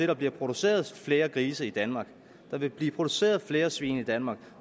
der bliver produceret flere grise i danmark at der vil blive produceret flere svin i danmark at